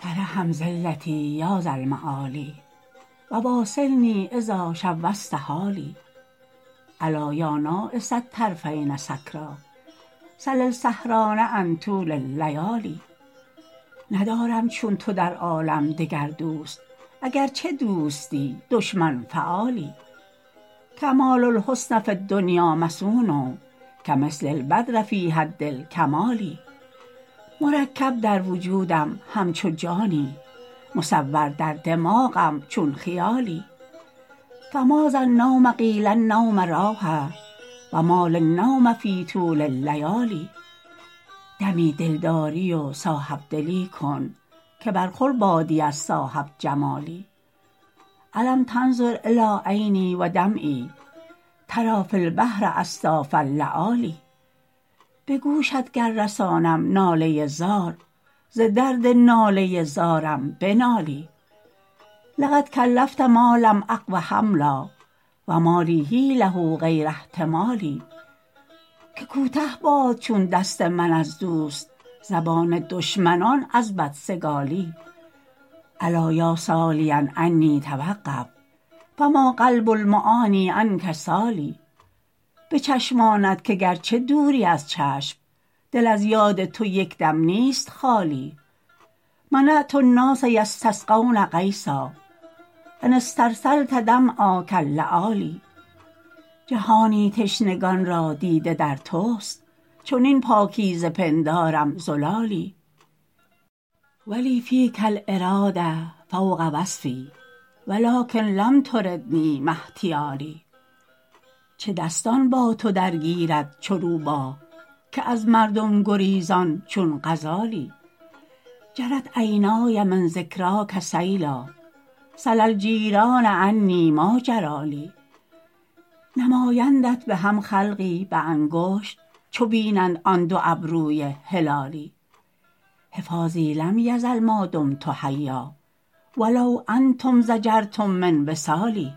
ترحم ذلتی یا ذا المعالی و واصلنی اذا شوشت حالی ألا یا ناعس الطرفین سکریٰ سل السهران عن طول اللیالی ندارم چون تو در عالم دگر دوست اگرچه دوستی دشمن فعالی کمال الحسن فی الدنیا مصون کمثل البدر فی حد الکمال مرکب در وجودم همچو جانی مصور در دماغم چون خیالی فماذا النوم قیل النوم راحه و ما لی النوم فی طول اللیالی دمی دلداری و صاحب دلی کن که برخور بادی از صاحب جمالی ألم تنظر إلی عینی و دمعی تری فی البحر أصداف اللآلی به گوشت گر رسانم ناله زار ز درد ناله زارم بنالی لقد کلفت ما لم أقو حملا و ما لی حیلة غیر احتمالی که کوته باد چون دست من از دوست زبان دشمنان از بدسگالی الا یا سالیا عنی توقف فما قلب المعنیٰ عنک سال به چشمانت که گرچه دوری از چشم دل از یاد تو یک دم نیست خالی منعت الناس یستسقون غیثا أن استرسلت دمعا کاللآلی جهانی تشنگان را دیده در توست چنین پاکیزه پندارم زلالی و لی فیک الإراده فوق وصف و لکن لم تردنی ما احتیالی چه دستان با تو درگیرد چو روباه که از مردم گریزان چون غزالی جرت عینای من ذکراک سیلا سل الجیران عنی ما جری لی نمایندت به هم خلقی به انگشت چو بینند آن دو ابروی هلالی حفاظی لم یزل ما دمت حیا و لو انتم ضجرتم من وصالی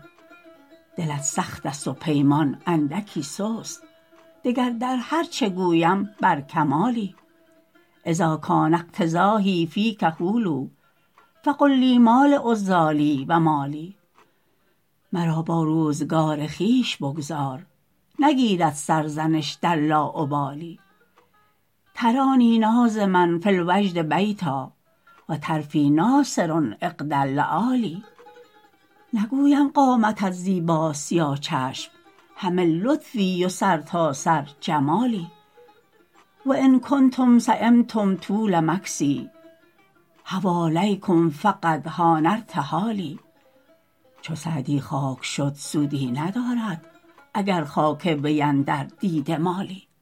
دلت سخت است و پیمان اندکی سست دگر در هر چه گویم بر کمالی اذا کان افتضاحی فیک حلوا فقل لی ما لعذالی و ما لی مرا با روزگار خویش بگذار نگیرد سرزنش در لاابالی ترانی ناظما فی الوجد بیتا و طرفی ناثر عقد اللآلی نگویم قامتت زیباست یا چشم همه لطفی و سرتاسر جمالی و ان کنتم سیمتم طول مکثی حوالیکم فقد حان ارتحالی چو سعدی خاک شد سودی ندارد اگر خاک وی اندر دیده مالی